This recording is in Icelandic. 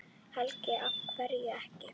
Helga: Af hverju ekki?